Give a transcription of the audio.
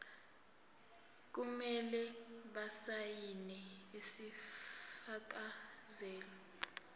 kumele basayine isifakazelo